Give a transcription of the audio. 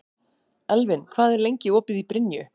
Elvin, hvað er lengi opið í Brynju?